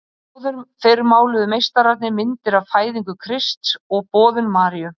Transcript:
Áður fyrr máluðu meistararnir myndir af Fæðingu Krists og Boðun Maríu